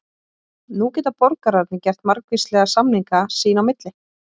Nú geta borgararnir gert margvíslega samninga sín í milli.